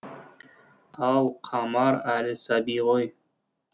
ал қамар әлі сәби ғой